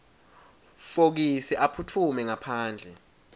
fokisi aphutfume ngaphandle